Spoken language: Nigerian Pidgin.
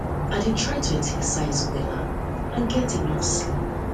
i dey try to exercise wella eat eat wella and get enough sleep